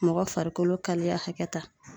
Mɔgɔ farikolo kaliya hakɛ ta